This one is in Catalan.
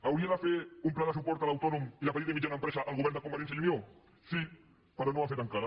hauria de fer un pla de suport a l’autònom i la petita i mitjana empresa el govern de convergència i unió sí però no ho ha fet encara